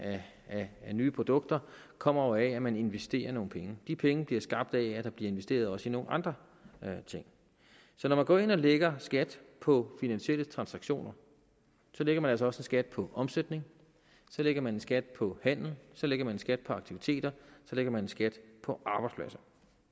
af nye produkter kommer jo af at man investerer nogle penge de penge bliver skabt af at der bliver investeret også i nogle andre ting så når man går ind og lægger skat på finansielle transaktioner lægger man altså også en skat på omsætning så lægger man en skat på handel så lægger man en skat på aktiviteter så lægger man en skat på arbejdspladser